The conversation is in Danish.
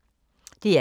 DR K